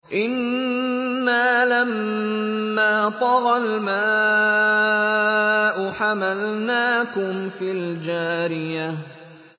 إِنَّا لَمَّا طَغَى الْمَاءُ حَمَلْنَاكُمْ فِي الْجَارِيَةِ